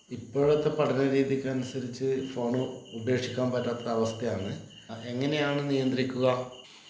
ഇപ്പോഴത്തെ പഠന രീതിക്കനുസരിച്ച് ഫോണ്‌ ഉപേക്ഷിക്കാൻ പറ്റാത്തൊരവസ്ഥയാണ് എങ്ങനെയാണ് നിയന്ത്രിക്കുക?